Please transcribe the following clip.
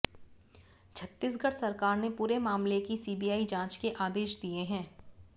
छत्तीसगढ़ सरकार ने पूरे मामले की सीबीआई जांच के आदेश दिए हैं